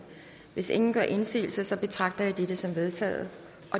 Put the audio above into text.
hvis ingen gør indsigelse betragter jeg dette som vedtaget